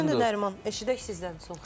Aydındır Nəriman, eşidək sizdən son xəbərləri.